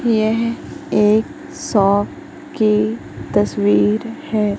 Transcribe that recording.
येह एक शॉप की तस्वीर हैं।